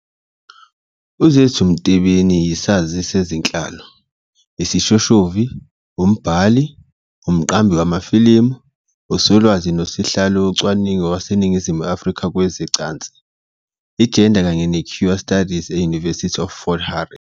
UZethu Matebeni yisazi sezenhlalo, isishoshovu, umbhali, umqambi wamafilimu, uSolwazi noSihlalo Wocwaningo waseNingizimu Afrika kwezeCansi, iGenders kanye neQueer Studies e-University of Fort Hare.